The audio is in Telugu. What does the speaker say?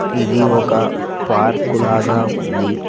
ఇది ఒక పార్కు లాగా ఉంది.